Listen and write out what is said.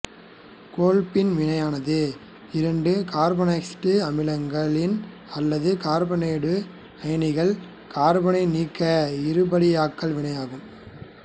கோல்பின் வினையானது இரண்டு கார்பாக்சிலிக் அமிலங்களின் அல்லது கார்பாக்சிலேட்டு அயனிகள் கார்பன்நீக்க இருபடியாக்கல் வினையாகும்